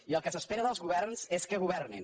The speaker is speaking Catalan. i el que s’espera dels governs és que governin